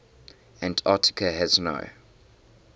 antarctica has no